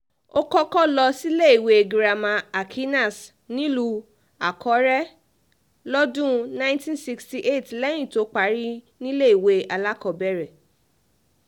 iléèwé alákọ̀ọ́bẹ̀rẹ̀ government school tó wà nílùú owó tí í ṣe ìlú bàbá rẹ̀ ló ti bẹ̀rẹ̀ ìwé kíkà rẹ̀